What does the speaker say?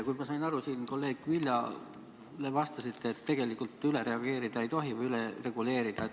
Kui ma sain aru, siis te kolleeg Viljale vastasite, et tegelikult üle reguleerida ei tohi.